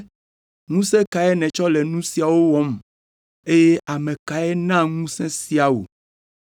“Ŋusẽ kae nètsɔ le nu siawo wɔm, eye ame kae na ŋusẽ sia wò?”